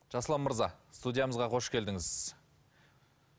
жасұлан мырза студиямызға қош келдіңіз